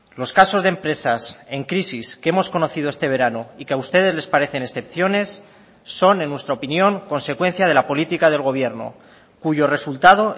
los casos de empresas en crisis que hemos conocido este verano y que a ustedes les parecen excepciones son en nuestra opinión consecuencia de la política del gobierno cuyo resultado